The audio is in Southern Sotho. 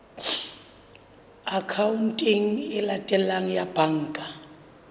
akhaonteng e latelang ya banka